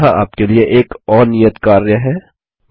यहाँ आपके लिए एक और नियत कार्य है 1